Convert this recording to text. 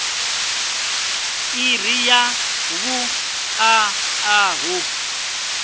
iri ya vhuṋa a hu